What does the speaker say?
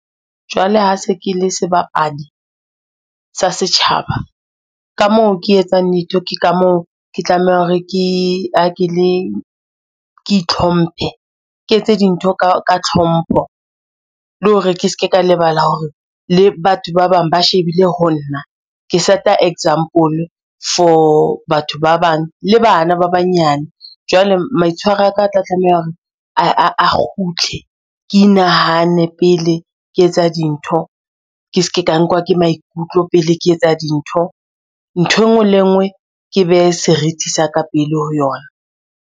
Jwale ha se ke le sebapadi sa setjhaba, ka moo ke etsang di-joke ka moo ke tlameha hore ke itlhomphe, ke etse dintho ka tlhompho le hore ke ske ka lebala hore le batho ba bang ba shebile ho nna. Ke set-a example for batho ba bang le bana ba banyane. Jwale maitshwaro a ka a tla tlameha hore a kgutle ke inahane pele ke etsa dintho ke ske ka nkuwa ke maikutlo pele ke etsa dintho nthwe nngwe le e nngwe, ke behe seriti sa ka pele ho yona.